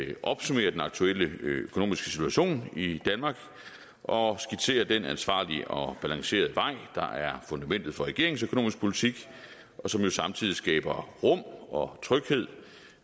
at opsummere den aktuelle økonomiske situation i danmark og skitsere den ansvarlige og balancerede vej der er fundamentet for regeringens økonomiske politik og som jo samtidig skaber rum og tryghed